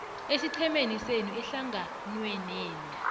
esiqhemeni senu ehlanganwenenu